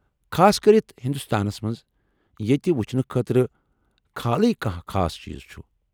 خاص كرِتھ ہندوستانس منٛز ییٚتہِ وٕچھنہٕ خٲطرٕ كھالٕے كانہہ خاص چیٖز چُھ ۔